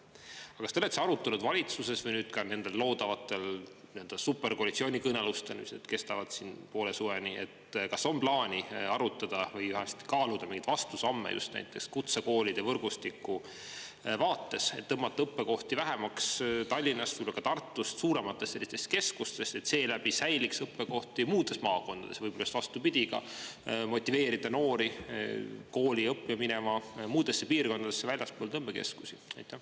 Aga kas te olete arutanud valitsuses või nüüd ka nendel loodavatel superkoalitsioonikõnelustel, mis kestavad poole suveni, kas on plaanis arutada või vähemasti kaaluda neid vastusamme just näiteks kutsekoolide võrgustiku vaates, et tõmmata õppekohti vähemaks Tallinnast või Tartust, suurematest keskustest, et seeläbi säiliks õppekohti muudes maakondades ja võib-olla just vastupidi ka motiveerida noori kooli õppima minema muudesse piirkondadesse väljaspool tõmbekeskusi?